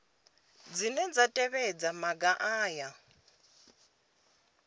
dzine dza tevhedza maga aya